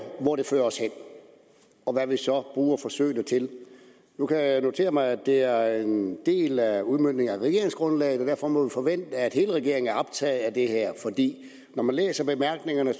hvor de fører os hen og hvad vi så bruger forsøgene til nu kan jeg notere mig at det er en del af udmøntningen af regeringsgrundlaget og derfor må vi forvente at hele regeringen er optaget af det her når man læser bemærkningerne